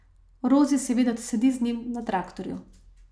Rozi seveda sedi z njim na traktorju.